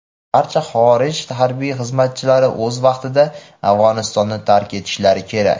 barcha xorij harbiy xizmatchilari o‘z vaqtida Afg‘onistonni tark etishlari kerak.